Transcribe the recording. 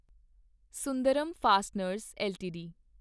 Sundaram fasteners LTD